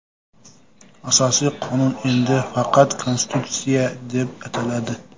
Asosiy qonun endi faqat Konstitutsiya deb ataladi.